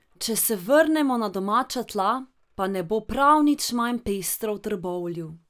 Če se vrnemo na domača tla, pa ne bo prav nič manj pestro v Trbovlju.